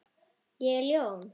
Ég er ljón.